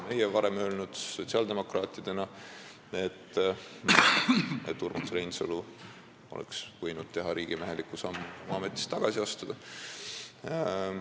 Meie, sotsiaaldemokraadid, oleme varem öelnud, et Urmas Reinsalu oleks võinud teha riigimeheliku sammu ja ametist tagasi astuda.